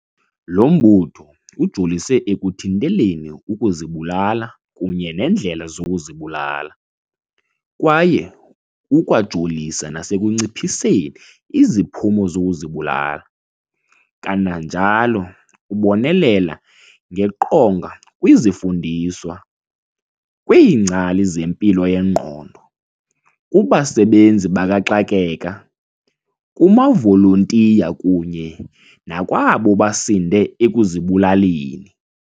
Lo mbutho ujolise ekuthinteleni ukuzibulala kunye neendlela zokuzibulala, kwaye ukwajolisa nasekunciphiseni iziphumo zokuzibulala, kananjalo ubonelela ngeqonga kwizifundiswa, kwiingcali zempilo yengqondo, kubasebenzi bakaxakeka, kumavolontiya kunye nakwabo basinde ekuzibulaleni.